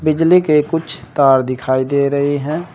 बिजली के कुछ तार दिखाई दे रहे हैं।